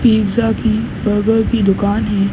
Pizza की burger की दुकान है।